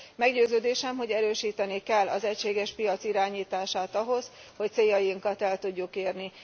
Meggyőződésem, hogy erősíteni kell az egységes piac irányítását ahhoz, hogy céljainkat el tudjuk érni.